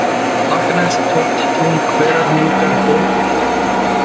Stakkanes, Tóftartún, Hverahnúkar, Bólholt